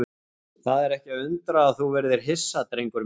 Það er ekki að undra að þú verðir hissa, drengur minn.